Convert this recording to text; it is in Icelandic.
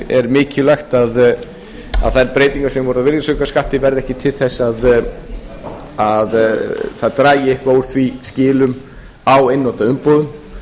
er mikilvægt að þær breytingar sem voru á virðisaukaskatti verði ekki til þess að það dragi eitthvað úr skilum á einnota umbúðum